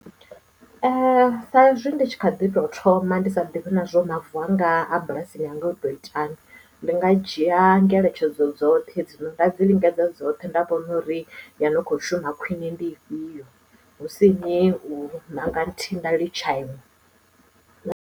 Sa ezwi ndi tshi kha ḓi tou thoma ndi sa ḓivhi nazwo uri mavu anga a bulasini yanga o to itahani ndi nga dzhia ngeletshedzo dzoṱhe dzi no nga dzi lingedza dzoṱhe nda vhona uri yo no kho shuma khwiṋe ndi ifhio husini nda ṋanga nthihi nda litsha inwe.